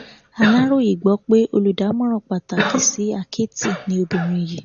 aláròye gbọ pé olùdámọràn pàtàkì sí àkẹtì ni obìnrin yìí